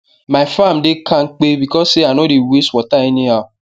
my farm dey kampe because say i no dey waste water any how